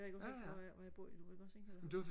hvor jeg bor lige nu ikke også ikke